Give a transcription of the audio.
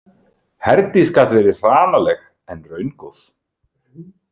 Herdís gat verið hranaleg en raungóð.